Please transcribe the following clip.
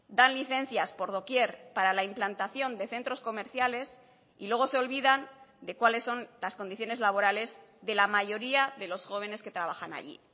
dan licencias por doquier para la implantación de centros comerciales y luego se olvidan de cuáles son las condiciones laborales de la mayoría de los jóvenes que trabajan allí